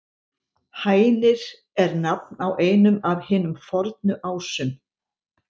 Hænir er nafn á einum af hinum fornu Ásum.